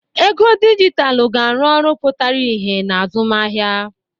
Ego dijitalụ ga-arụ ọrụ pụtara ìhè na azụmahịa.